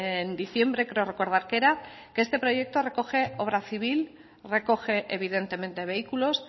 en diciembre creo recordar que era que este proyecto recoge obra civil recoge evidentemente vehículos